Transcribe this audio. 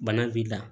Bana b'i la